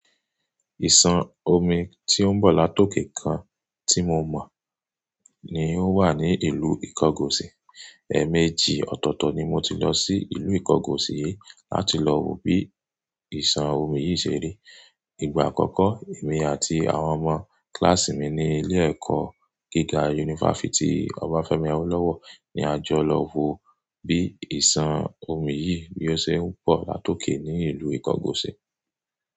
Ìsàn omi tí ó ń bọ̀ látòkè kan tí mo mọ̀ ni ó wà ní ìlú Ìkọgọ̀sì. Ẹ̀ẹ̀mejì ọ̀tọ̀ọ̀tọ̀ ni mo ti lọ sí ìlú Ìkọgọ̀sì yi láti lọ wo bí ìsàn omi yìí ṣe rí. Ìgbà àkọ́kọ́, èmi àti àwọn ọmọ kíláàsì mi ní ilé-ẹ̀kọ́ gíga yunifásítì Ọbáfẹ́mi Awólọ́wọ̀ ni a jọ lọ wo bí ìsàn omi yìí bí ó ṣe ń bọ̀ látòkè ní ìlú Ìkọgọ̀sì.